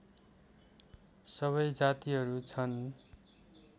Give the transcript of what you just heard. सबै जातिहरू छन्